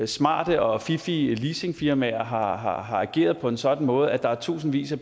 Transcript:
smarte og fiffige leasingfirmaer har har ageret på en sådan måde at der er tusindvis af